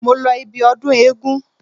Mo lọ ibi ọdún eégún.